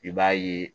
I b'a ye